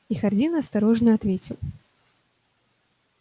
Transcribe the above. и хардин осторожно ответил